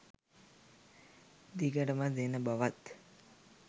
දිගටම දෙන බවත්